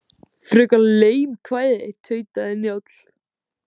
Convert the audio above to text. Frekar leim kvæði, tautaði Njáll.